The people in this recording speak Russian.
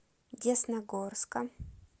десногорска